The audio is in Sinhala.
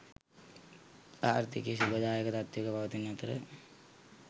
ආර්ථිකය ශුභදායක තත්ත්වයක පවතින අතර